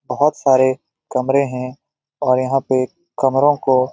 बहुत सारे कमरे हैं और यहाँ पे कमरों को --